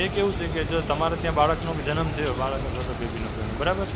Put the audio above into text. એ કેવું છે કે તમારા ત્યાં બાળકનો જન્મ થયો. બાળક અથવા તો બેબીનો કોઈ નો. બરાબર?